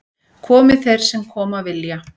Komi þeir sem koma vilja